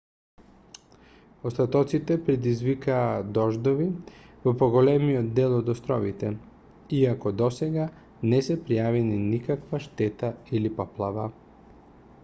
остатоците предизвикаа дождови во поголемиот дел од островите иако досега не се пријавени никаква штета или поплава